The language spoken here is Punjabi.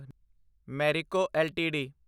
ਮੈਰਿਕੋ ਐੱਲਟੀਡੀ